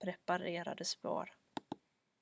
preparerade spår